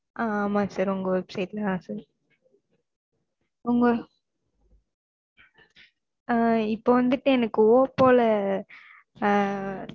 அஹ் ஆமா sir உங்க website ல தான் sir உங்க ஆஹ் இப்ப வந்துட்டு எனக்கு oppo ல ஆஹ்